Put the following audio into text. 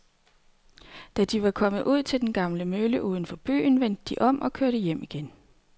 Da de var kommet ud til den gamle mølle uden for byen, vendte de om og kørte hjem igen.